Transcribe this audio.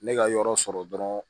Ne ka yɔrɔ sɔrɔ dɔrɔn